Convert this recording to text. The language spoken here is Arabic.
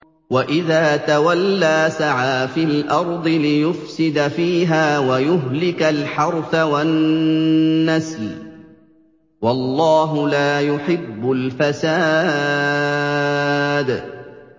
وَإِذَا تَوَلَّىٰ سَعَىٰ فِي الْأَرْضِ لِيُفْسِدَ فِيهَا وَيُهْلِكَ الْحَرْثَ وَالنَّسْلَ ۗ وَاللَّهُ لَا يُحِبُّ الْفَسَادَ